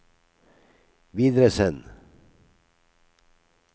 videresend